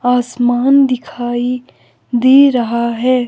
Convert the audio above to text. आसमान दिखाई दे रहा है।